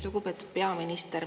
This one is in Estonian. Lugupeetud peaminister!